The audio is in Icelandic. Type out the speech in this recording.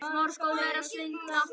Ég trúði því.